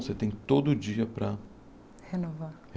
Você tem todo dia para... Renovar.